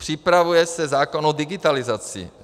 Připravuje se zákon o digitalizaci.